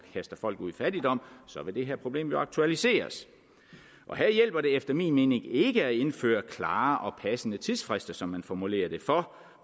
kaster folk ud i fattigdom så vil det her problem jo aktualiseres her hjælper det efter min mening ikke at indføre klare og passende tidsfrister som man formulerer det for